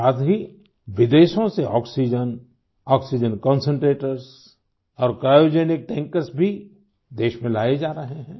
साथ ही विदेशों से आक्सीजेन आक्सीजेन कंसंट्रेटर्स और क्रायोजेनिक टैंकर्स भी देश में लाये जा रहे हैं